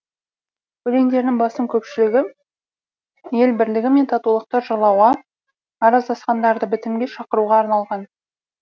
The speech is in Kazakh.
өлеңдерінің басым көпшілігі ел бірлігі мен татулықты жырлауға араздасқандарды бітімге шақыруға арналған